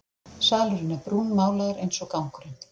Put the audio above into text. Salurinn er brúnmálaður einsog gangurinn.